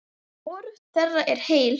Hvorug þeirra er heil.